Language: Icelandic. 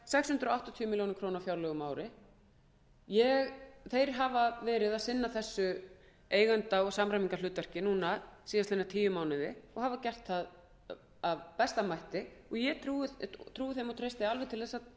hundruð áttatíu milljónir króna á fjárlögum á ári þeir hafa sinnt þessu eigenda og samræmingarhlutverki síðustu tíu mánuði og hafa gert það af besta mætti og ég trúi þeim og